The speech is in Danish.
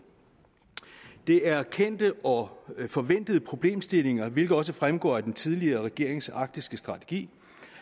det er kendte og forventede problemstillinger hvilket også fremgår af den tidligere regerings arktiske strategi